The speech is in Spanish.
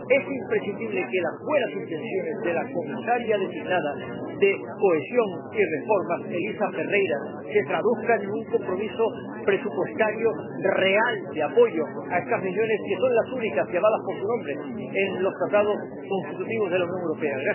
Es imprescindible que las buenas intenciones de la comisaria propuesta para la cartera de Cohesión y Reformas, Elisa Ferreira, se traduzcan en un compromiso presupuestario real de apoyo a estas regiones, que son las únicas llamadas por su nombre en los Tratados constitutivos de la Unión Europea.